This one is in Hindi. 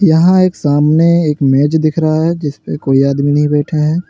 यहां एक सामने एक मेज दिख रहा है जिस पे कोई आदमी नहीं बैठे हैं।